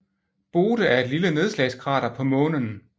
Bode er et lille nedslagskrater på Månen